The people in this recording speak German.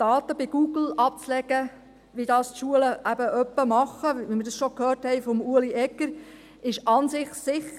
Daten bei Google abzulegen, wie das die Schulen eben hin und wieder tun, wie wir es schon von Ueli Egger gehört haben, ist an sich sicher.